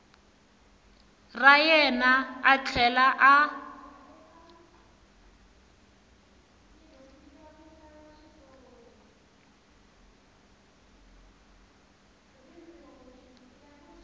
ra yena a tlhela a